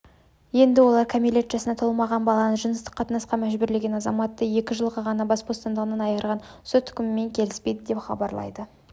енді олар кәмелет жасына толмаған баланы жыныстық қатынасқа мәжбүрлеген азаматты екі жылға ғана бас бостандығынан айырған сот үкімімен келіспейді деп хабарлайды